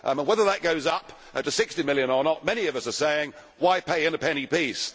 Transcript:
Whether that goes up to GBP 60 million or not, many of us are saying why pay in a penny piece?